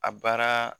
A baara